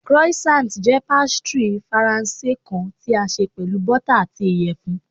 Croissant jẹ pastry Faranse kan ti a ṣe pẹlu bota ati iyẹfun